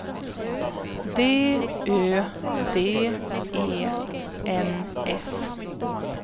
D Ö D E N S